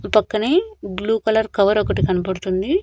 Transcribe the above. పక్కనే blue colour కవరొకటి కన్పడుతుంది.